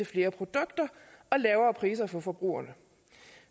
flere produkter og lavere priser for forbrugerne